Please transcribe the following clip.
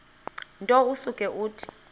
nto usuke uthi